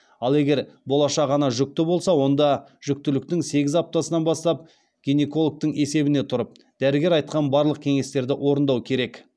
ал егер болашақ ана жүкті болса онда жүктіліктің сегіз аптасынан бастап гинекологтың есебіне тұрып дәрігер айтқан барлық кеңестерді орындау керек